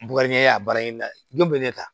Bɔgɔɲɛ a bayɛlɛmali don bɛ ne ta